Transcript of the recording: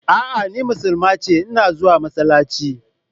A'a ni musulma ce, ina zuwa masallaci.